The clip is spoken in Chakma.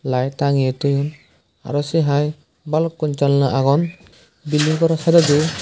light tangeye toyon arow sei haai balukkun janla agon bilding goraw seredi.